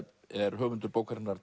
er höfundur bókarinnar